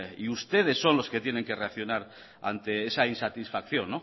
y ustedes son los que tienen que reaccionar ante esa insatisfacción